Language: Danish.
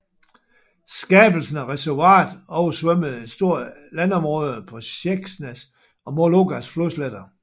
Skabelsen af reservoiret oversvømmede et stort landområde på Sjeksnas og Mologas flodsletter